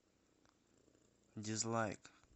дизлайк